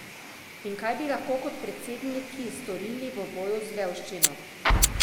In kaj bi lahko kot predsedniki storili v boju z revščino?